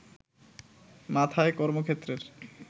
মাথায় কর্মক্ষেত্রের